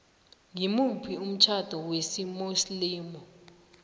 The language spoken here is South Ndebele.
ngimuphi umtjhado wesimuslimu